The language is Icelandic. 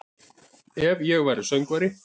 Ef væri ég söngvari